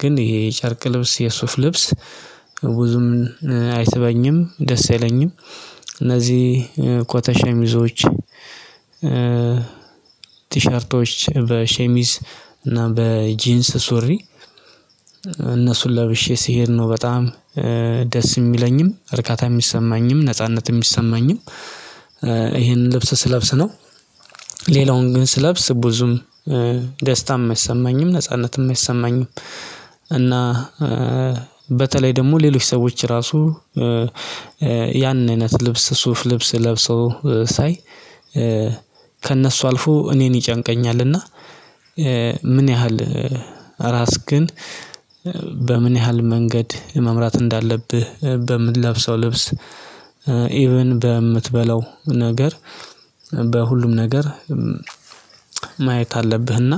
ግን ይሄ የጨርቅ ልብስ የሱፍ ልብስ ብዙም አይሰበኝም ደስ የለኝም። እነዚህ ኮተ ሸሚዞች ቲሸርቶች በሸሚዝ እና በጂንስ ሱሪ እነሱን ለብሼ ስሄድ ነው በጣም ደስ የሚለኝም እርካታ የሚሰማኝም ነጻነት የሚሰማኝም። ይሄንን ልብስ ስለብስ ነው ሌላውን ግን ስለብስ ብዙም ደስታም አይሰማኝም ነጻነትም አይሰማኝም። እና በተለይ ደግሞ ሌሎች ሰዎች ራሱ ያንን አይነት ልብስ ሱፍ ልብስ ለብሰው ሳይ ከእነሱ አልፎ እኔን ይጨንቀኛልና። ምን ያህል ራስ ግን በምን ያህል መንገድ መምራት እንዳለብህ በምትለብሰው ልብስ ኢቭን በምትበላው ነገር በሁሉም ነገር ማየት አለብህና።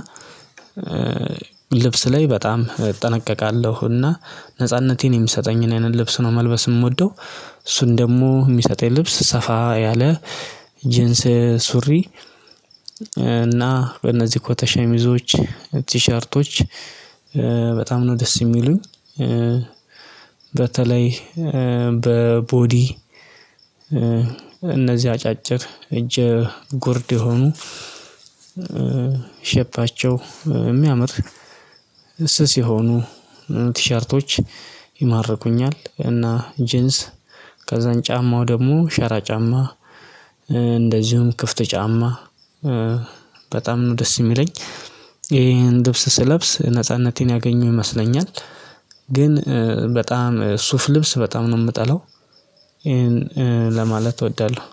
ልብስ ላይ በጣም እጠነቀቃለሁና ነጻነቴን የምሰጠኝ አይነት ልብስ ነው መልበስ የምወደው እሱን ደግሞ የሚሰጠኝ ልብስ ሰፋ ያለ ጄንስ ሱሪ እና በእነዚህ ኮተ ሸሚዞች ቲሸርቶች በጣም ነው ደስ የሚሉኝ። በተለይ በቦዲ አጫጭር እጅ ጎርድ የሆኑ ሸባቸው የሚያምር ስስ የሆኑ ቲሸርቶች ይማርኩኛል እና ጂንስ ከዛን ጫማው ደግሞ ሻራ ጫማ እንደዚሁም ክፍት ጫማ በጣም ደስ የሚለኝ ይሄን ድብስ ስለብስ ነጻነቴን ያገኘው ይመስለኛል። ግን በጣም ሱፍ ልብስ በጣም ነው የምጠለው ይሄን ለማለት እወዳለሁ።